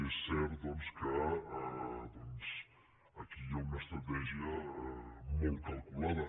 és cert doncs que aquí hi ha una estratègia molt calculada